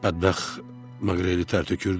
Bədbəxt Maqreli tər tökürdü.